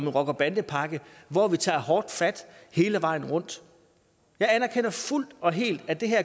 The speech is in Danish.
en rocker bande pakke hvor vi tager hårdt fat hele vejen rundt jeg anerkender fuldt og helt at det her